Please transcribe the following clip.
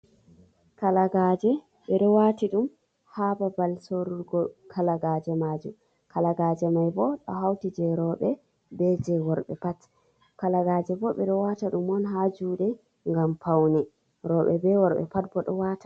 Kalagaaje, ɓe ɗo waati ɗum ha babal sorurgo kalagaaje majum, kalagaaje mai bo ɗo hauti jei rooɓe be jei worɓe pat, kalagaaje bo ɓe ɗo waata ɗum on ha juuɗe ngam paune, rooɓe be worɓe pat bo ɗo waata.